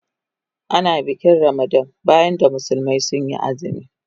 Ana bikin Ramadan bayan da musulmi sun yi azumi.